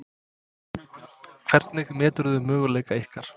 Hvernig meturðu möguleika ykkar?